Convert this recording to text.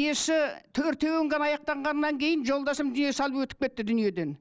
несі төртеуін ғана аяқтанғаннан кейін жолдасым дүние салып өтіп кетті дүниеден